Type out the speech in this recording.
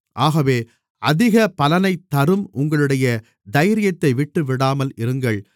ஆகவே அதிக பலனைத் தரும் உங்களுடைய தைரியத்தை விட்டுவிடாமல் இருங்கள்